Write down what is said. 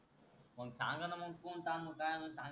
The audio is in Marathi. सांगा न मंग कोणता आणू काय आणू